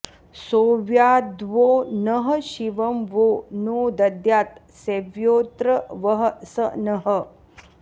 सोऽव्याद्वो नः शिवं वो नो दद्यात् सेव्योऽत्र वः स नः